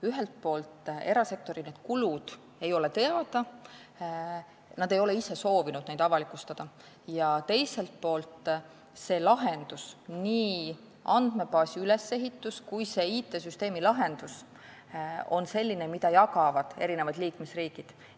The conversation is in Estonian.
Ühelt poolt ei ole erasektori kulud teada, nad ei ole ise soovinud neid avalikustada, ja teiselt poolt on see lahendus, nii andmebaasi ülesehitus kui ka IT-süsteemi lahendus, selline, et seda jagavad eri liikmesriigid.